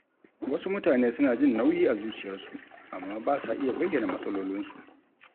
Wasu mutane suna jin nauyi a zuciyarsu amma ba sa iya bayyana matsalolinsu.